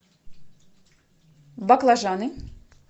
баклажаны